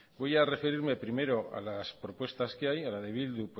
voy a referirme primero a las propuestas que hay a la de bildu